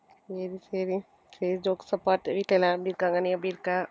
சரி சரி சரி jokes apart வீட்டுல எல்லாரும் எப்படி இருக்காங்க நீ எப்படி இருக்க